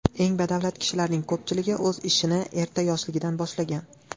Eng badavlat kishilarning ko‘pchiligi o‘z ishini erta yoshligidan boshlagan.